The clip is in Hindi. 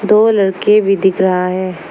दो लड़के भी दिख रहा है।